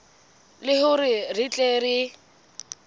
le hore re tle re